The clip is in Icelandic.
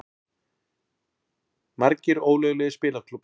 Margir ólöglegir spilaklúbbar